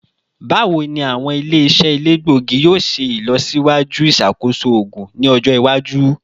Bawo ni awọn ile-iṣẹ elegbogi yoo ṣe ilọsiwaju iṣakoso oogun ni ọjọ iwaju?